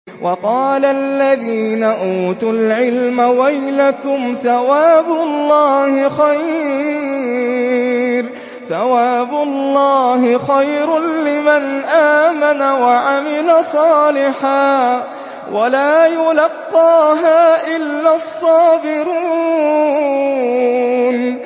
وَقَالَ الَّذِينَ أُوتُوا الْعِلْمَ وَيْلَكُمْ ثَوَابُ اللَّهِ خَيْرٌ لِّمَنْ آمَنَ وَعَمِلَ صَالِحًا وَلَا يُلَقَّاهَا إِلَّا الصَّابِرُونَ